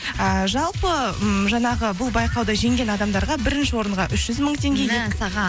ііі жалпы ммм жаңағы бұл байқауды жеңген адамдарға бірінші орынға үш жүз мың